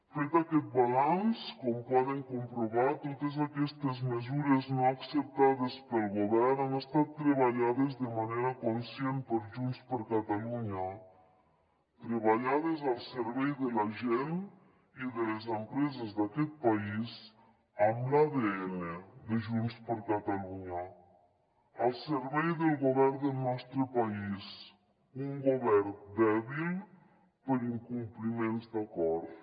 fet aquest balanç com poden comprovar totes aquestes mesures no acceptades pel govern han estat treballades de manera conscient per junts per catalunya treballades al servei de la gent i de les empreses d’aquest país amb l’adn de junts per catalunya al servei del govern del nostre país un govern dèbil per incompliments d’acords